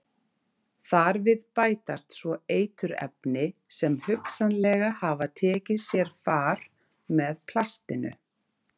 Þar við bætast svo eiturefni sem hugsanlega hafa tekið sér far með plastinu.